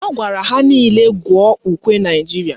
Ọ gwara ha nile gụọ ukwe Naijiria